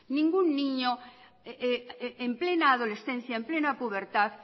ningún niño en plena adolescencia en plena pubertad